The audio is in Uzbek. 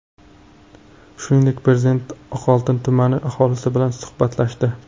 Shuningdek, Prezident Oqoltin tumani aholisi bilan suhbatlashdi .